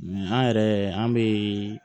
an yɛrɛ an bɛ